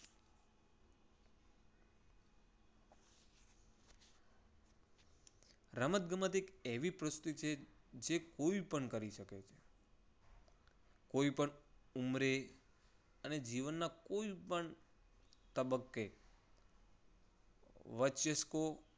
રમતગમત એક એવી પ્રવૃત્તિ છે કે કોઈપણ કરી શકે. કોઈ પણ ઉંમરે અને જીવનના કોઈ પણ તબક્કે વચ્ચે